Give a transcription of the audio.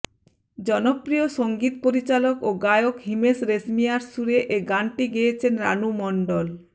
জনপ্রিয় সংগীত পরিচালক ও গায়ক হিমেশ রেশমিয়ার সুরে এ গানটি গেয়েছেন রানু মণ্ডল